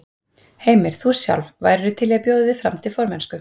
Heimir: Þú sjálf, værirðu til í að bjóða þig fram til formennsku?